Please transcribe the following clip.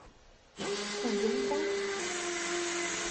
кубинка